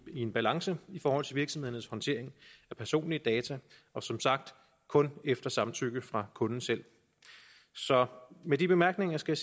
i en balance i forhold til virksomhedernes håndtering af personlige data og som sagt kun efter samtykke fra kunden selv så med de bemærkninger skal